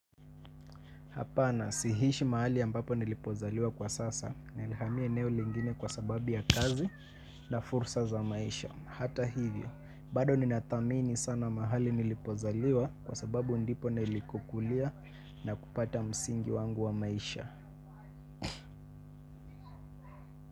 Hapana, siishi mahali ambapo nilipozaliwa kwa sasa nilihamia eneo lingine kwasababu ya kazi na fursa za maisha. Hata hivyo, bado ninathamini sana mahali nilipozaliwa kwasababu ndipo nilikokulia na kupata msingi wangu wa maisha.